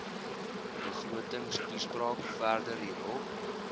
begrotingstoespraak verder hierop